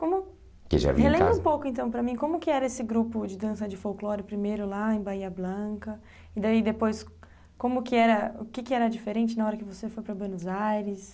Como... Relembra um pouco, então, para mim, como que era esse grupo de dança de folclore, primeiro lá em Bahia Blanca, e daí depois, como que era, o que que era diferente na hora que você foi para Buenos Aires...